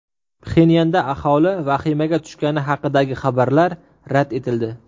Pxenyanda aholi vahimaga tushgani haqidagi xabarlar rad etildi.